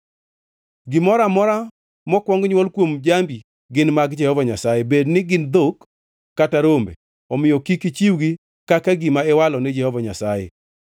“ ‘Gimoro amora mokwong nywol kuom jambi gin mag Jehova Nyasaye, bedni gin dhok, kata rombe, omiyo kik ichiwgi kaka gima iwalo ni Jehova Nyasaye.